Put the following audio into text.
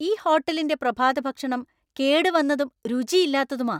ഈ ഹോട്ടലിന്‍റെ പ്രഭാതഭക്ഷണം കേടുവന്നതും രുചിയില്ലാത്തതുമാ.